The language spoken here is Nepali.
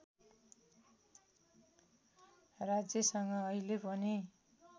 राज्यसँग अहिले पनि